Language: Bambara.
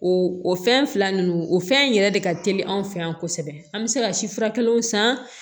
O o fɛn fila ninnu o fɛn in yɛrɛ de ka teli anw fɛ yan kosɛbɛ an bɛ se ka si fura kelenw san